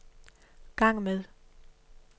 gang med